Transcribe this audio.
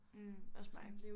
Mh også mig